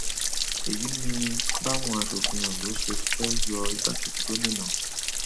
èyí ni báwọn asòfin ondo ṣe fẹẹ yọ igbákejì gómìnà